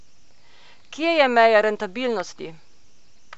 Kje je meja rentabilnosti?